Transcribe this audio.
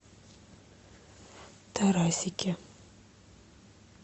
тарасике